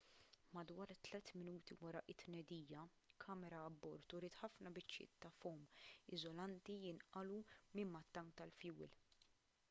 madwar 3 minuti wara t-tnedija kamera abbord uriet ħafna biċċiet ta' fowm iżolanti jinqalgħu minn mat-tank tal-fjuwil